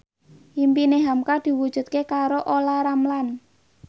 impine hamka diwujudke karo Olla Ramlan